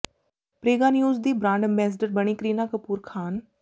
Prega news ਦੀ brand ambassador ਬਣੀ ਕਰੀਨਾ ਕਪੂਰ ਖ਼ਾਨ